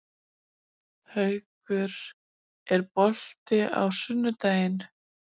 Haukur, er bolti á sunnudaginn?